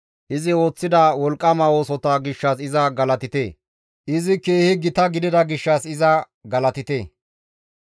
Izi ooththida wolqqama oosota gishshas iza galatite; izi keehi gita gidida gishshas iza galatite!